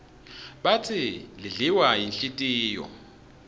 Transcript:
batsi lidliwa yinhlitiyo